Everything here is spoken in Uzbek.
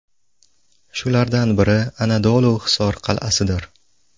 Shulardan biri Anadolu Hisor qal’asidir.